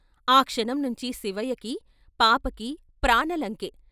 ఆ క్షణం నుంచి శివయ్యకి, పాపకి ప్రాణలంకె.